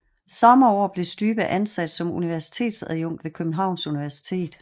Samme år blev Stybe ansat som universitetsadjunkt ved Københavns Universitet